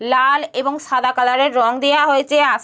লাল এবং সাদা কালারের রং দিয়া হয়েছে আস --